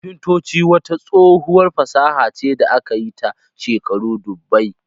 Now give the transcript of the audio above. Kafintacci wata tsohuwar fasaha ce da aka yi ta shekaru dubbai